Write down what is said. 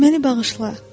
Məni bağışla.